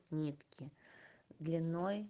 нитки длиной